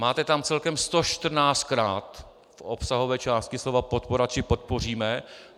Máte tam celkem 114krát v obsahové části slova podpora či podpoříme.